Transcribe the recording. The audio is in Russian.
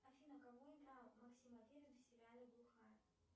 афина кого играл максим аверин в сериале глухарь